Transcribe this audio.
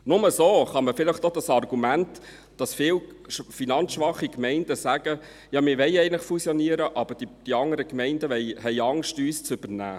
Nur so kann man vielleicht auch das Argument entkräften, wonach viele finanzschwache Gemeinden sagen: Ja, wir wollen eigentlich fusionieren, aber die anderen Gemeinden haben Angst, uns zu übernehmen.